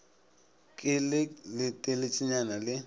ke le le teletšana le